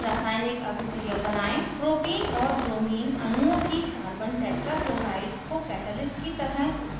निम्न रासायनिक अभिक्रिया बनायें: 1 propene c3h6 c